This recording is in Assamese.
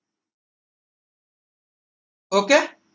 ok